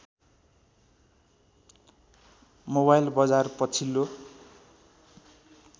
mobile बजार पछिल्लो